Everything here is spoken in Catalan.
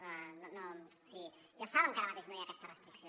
o sigui ja saben que ara mateix no hi ha aquesta restricció